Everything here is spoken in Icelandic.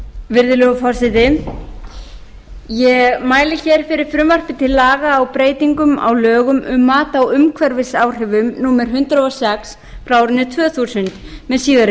virðulegur forseti ég mæli fyrir frumvarpi til laga og breytingum á lögum um mat á umhverfisáhrifum númer hundrað og sex tvö þúsund með síðari